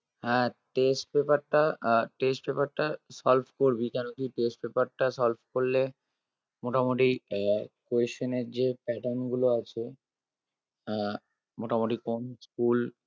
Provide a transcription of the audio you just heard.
আহ test paper টা আহ test paper টা solve করবি কেন কি test paper টা solve করলে মোটামোটি আহ question এর যে pattern গুলো আছে আহ মোটামোটি কোন school